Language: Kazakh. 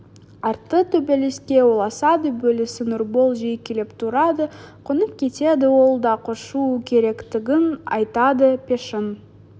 арты төбелеске ұласады бөлесі нұрбол жиі келіп тұрады қонып кетеді ол да көшу керектігін айтады пешің